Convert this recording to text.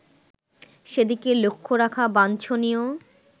সেদিকে লক্ষ্য রাখা বাঞ্ছনীয়